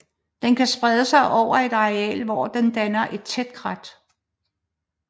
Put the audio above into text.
Den kan sprede sig over et areal hvor den danner et tæt krat